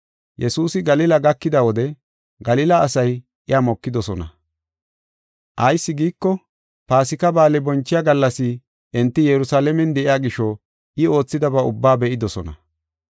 Yesuusi Galila gakida wode Galila asay iya mokidosona. Ayis giiko, Paasika Ba7aale bonchiya gallas enti Yerusalaamen de7iya gisho I oothidaba ubbaa be7idosona.